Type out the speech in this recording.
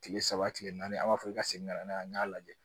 Tile saba tile naani a b'a fɔ i ka segin ka na n'a ye n y'a lajɛ